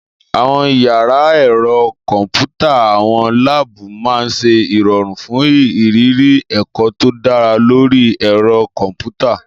Àwọn yàrá ẹ̀rọ kọ̀m̀pútà/àwọn láàbù máa ń ṣe ìrọ̀rùn fún ìrírí ẹ̀kọ́ tó dá lórí ẹ̀rọ kọ̀m̀pútà.